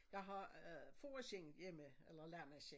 Jeg har øh fåreskind hjemme eller lammeskind